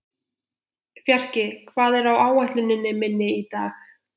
Fjarki, hvað er á áætluninni minni í dag?